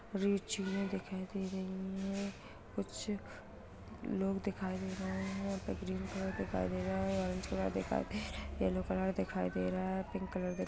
रिचिये चींज़े दिखाई दे रही है कुछ लोग दिखाई दे रहे हैं यहाँ पर ग्रीन कलर के ऑरेंज कलर दिखाई दे रहा है येलो कलर दिखाई दे रहा है पिंक कलर --